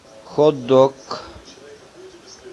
хот дог